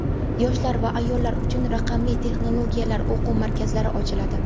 yoshlar va ayollar uchun raqamli texnologiyalar o‘quv markazlari ochiladi.